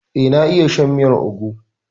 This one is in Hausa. Eh, na iya shan miyar ugwu.